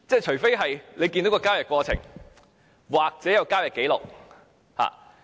除非看到交易過程，或有交易紀錄。